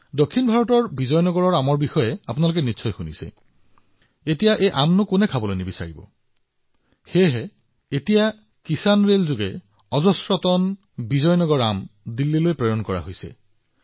দক্ষিণ ভাৰতত আপুনি নিশ্চয় বিজয়নগৰমৰ আমৰ বিষয়ে শুনিছে এতিয়া কোনে এই আমবোৰ খাব নিবিচাৰে সেয়েহে এতিয়া কিষাণৰেলত শ শ টন বিজয়নগৰম আম দিল্লীত উপস্থিত হৈছে